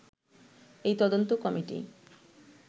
এই তদন্ত কমিটি